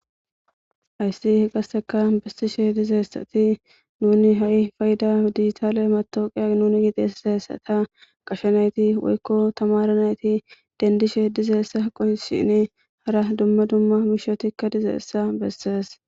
Hayissani betishe dizayisati nunni hayi payidda digitale matawoqiya ekanasi gashe nati denidishe dizayissa nne hara duma duma mishati dizayissa bessesi